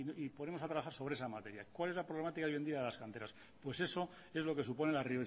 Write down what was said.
y ponemos a trabajar sobre esa materia cuál es la problemática hoy en día de las canteras pues eso es lo que supone la